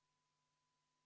V a h e a e g